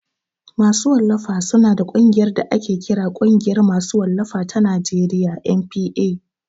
Masu wallafa su na da ƙungiyar da ake kira Ƙungiyar ma su wallafa ta Najeriya (NPA)